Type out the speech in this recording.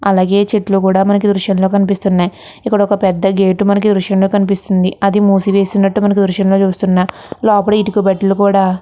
అలాగే చేతుల్లు కూడా మనకి దృశ్యం లో కనిపిస్తున్నాయి ఇక్కడ ఒక పెద్ద గేట్ మనకి దృశ్యం కనిపిస్తున్నాయి అది ముసి వున్నటు గ దృశ్యం లో తెల్లుస్తుంది లోపల ఇటుక బట్టెలు కూడా--